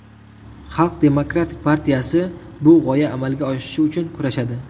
Xalq demokratik partiyasi bu g‘oya amalga oshishi uchun kurashadi.